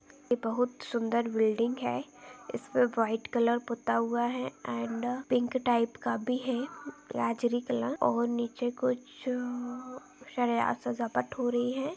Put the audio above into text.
ये बहोत सुंदर बिल्डिंग है इस पे वाइट कलर पुता हुआ है एंड पिंक टाइप का भी है गाजरी कलर और नीचे कुछ अ सरिया स जपत हो रही है।